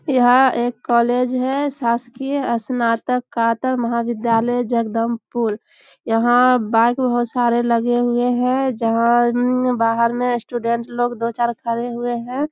यहां एक कॉलेज है शासकीय स्नातक कातर महाविद्यालय जगदंबपुर | यहां बाइक बहुत सारा लगे हुए हैं जहां बाहर में स्टूडेंट लोग दो चार खड़े हुए हैं।